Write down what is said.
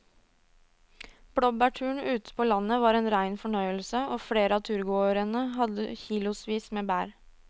Blåbærturen ute på landet var en rein fornøyelse og flere av turgåerene hadde kilosvis med bær.